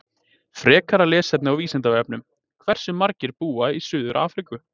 Frekara lesefni á Vísindavefnum: Hversu margir búa í Suður-Afríku?